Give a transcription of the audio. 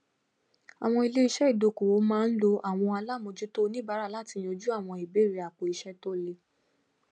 awọn iléiṣẹ ìdókòwò máa ń lo àwọn alamojuto onibaara lati yanjú àwọn ìbéèrè àpòiṣẹ to le